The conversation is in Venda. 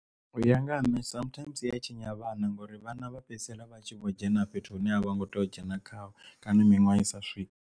U ya nga ha nṋe sometimes zwi a tshinya vhana ngori vhana vha fhedzisela vha tshi vho dzhena fhethu hune ha vha ngo tea u dzhena khazwo kana miṅwaha i sa swike.